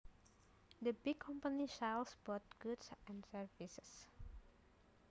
The big company sells both goods and services